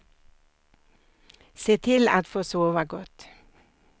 Se till att få sova gott.